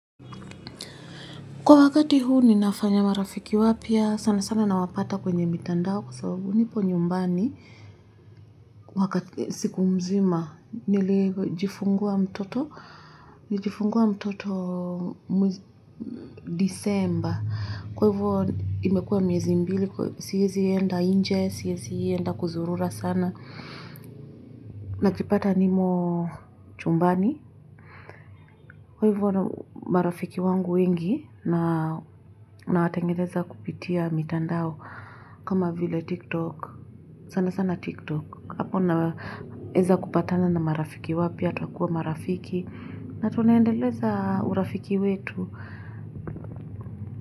Kwa wakati huu ninafanya marafiki wapya sana sana nawapata kwenye mitandao kwa sababu nipo nyumbani wakati siku mzima nilijifungua mtoto nilijifungua mtoto disemba. Kwa hivo imekuwa miezi mbili siezi enda nje siezi enda kuzurura sana. Nakipata nimo chumbani kwa hivo marafiki wangu wengi na nawatengeneza kupitia mitandao kama vile tiktok sana sana tiktok hapo na naeza kupatana na marafiki wapya tunakuwa marafiki na tunaendeleza urafiki wetu.